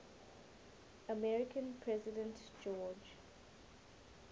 american president george